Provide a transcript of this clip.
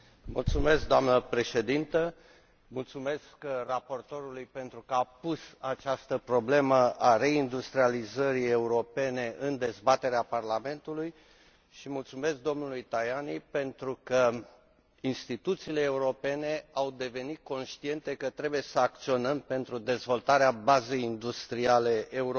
Doamnă președintă, mulțumesc raportorului pentru că a pus această problemă, a reindustrializării europene, în dezbaterea Parlamentului și mulțumesc domnului Tajani, pentru că instituțiile europene au devenit conștiente că trebuie să acționăm pentru dezvoltarea bazei industriale europene.